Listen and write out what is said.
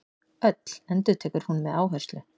Öll, endurtekur hún með áherslu.